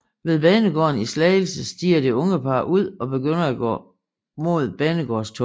Ved banegården i Slagelse stiger det unge par ud og begynder at gå mod banegårdstunnelen